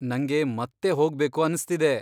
ನಂಗೆ ಮತ್ತೆ ಹೋಗ್ಬೇಕು ಅನ್ಸ್ತಿದೆ.